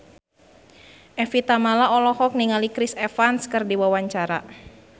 Evie Tamala olohok ningali Chris Evans keur diwawancara